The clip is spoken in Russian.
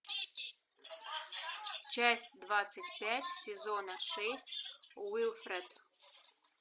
часть двадцать пять сезона шесть уилфред